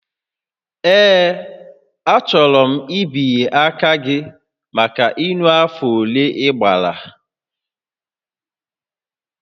Ee, achọrọ mbinye aka gị maka ịṅụ afọ ole ị gbara